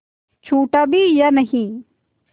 छूटा भी या नहीं